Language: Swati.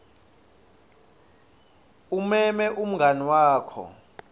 umeme umngani wakho